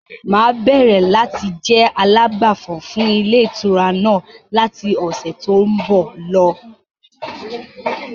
Máa bẹ̀rẹ̀ láti jẹ alágbàfọ̀ fún ilé ìtura náà láti ọ̀sẹ̀ to ń bọ̀ lọ.